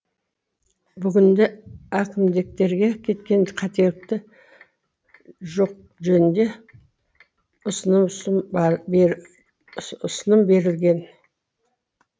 бүгінде әкімдектерге кеткен қателікті жоқ жөнінде ұсыным берілген